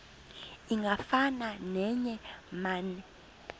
ingafana neye mane